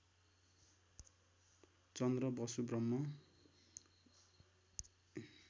चन्द्र Basu ब्रह्म